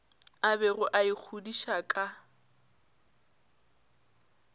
a bego a ikgodiša ka